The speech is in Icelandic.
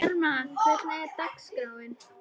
Bjarma, hvernig er dagskráin?